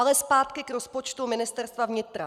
Ale zpátky k rozpočtu Ministerstva vnitra.